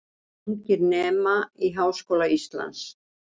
Ungir nema í Háskóla Íslands